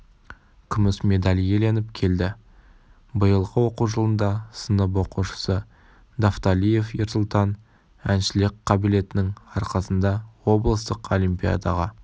күміс медаль иеленіп келді биылғы оқу жылында сынып оқушысы давталиев ерсұлтан әншілік қабілетінің арқасында облыстық олимпиадаға